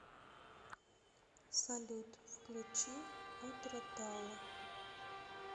салют включи отра талла